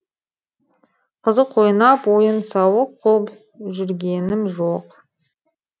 қызық ойлап ойын сауық қуып жүргенім жоқ